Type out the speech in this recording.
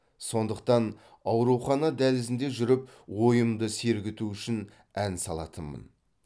сондықтан аурухана дәлізінде жүріп ойымды сергіту үшін ән салатынмын